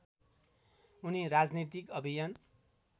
उनी राजनीतिक अभियान